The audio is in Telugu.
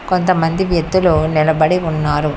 కొంతమంది వ్యక్తులు నిలబడి ఉన్నారు.